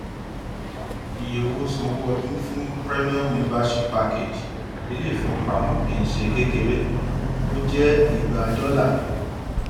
iye owó sanwó ọdún fún premium membership package ilé ìfowópamọ kì í ṣe kékeré ó jẹ igba dọlà